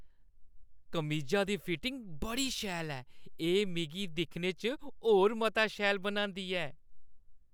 कमीजा दा फिटिङ बड़ी शैल ऐ। एह् मिगी दिक्खने च होर मता शैल बनांदी ऐ।